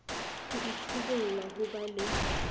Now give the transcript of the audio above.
ho itsibola ho ba le